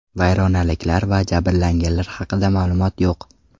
Vayronaliklar va jabrlanganlar haqida ma’lumot yo‘q.